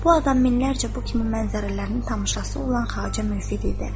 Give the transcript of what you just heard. Bu adam minlərcə bu kimi mənzərələrin tamaşaçısı olan xacə Müfid idi.